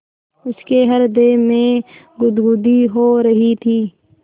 उसके हृदय में गुदगुदी हो रही थी